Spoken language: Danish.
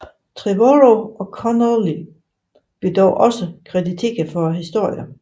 Trevorrow og Connolly blev dog også krediteret for historien